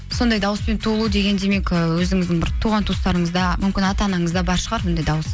сондай дауыспен туылу деген демек ы өзіңіздің бір туған туыстарыңызда мүмкін ата анаңызда бар шығар мұндай дауыс